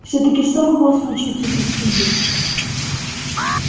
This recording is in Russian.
всё-таки что могло случиться со спиди